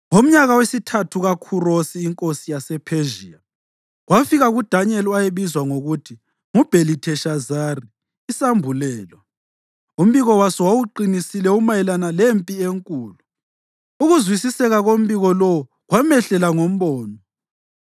Ngomnyaka wesithathu kaKhurosi inkosi yasePhezhiya, kwafika kuDanyeli (owayebizwa ngokuthi nguBhelitheshazari) isambulelo. Umbiko waso wawuqinisile umayelana lempi enkulu. Ukuzwisiseka kombiko lowo kwamehlela ngombono.